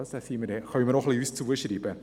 Das können wir auch uns selbst zuschreiben.